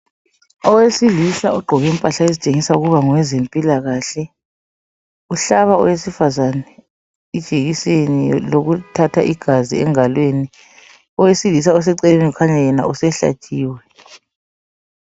Owesilisa ogqoke impahla ezitshengisa ukuba ngowezempilakahle uhlaba owesifazana ijekiseni lokuthatha igazi engalweni. Owesilisa oseceleni ukhanya yena usehlatshiwe.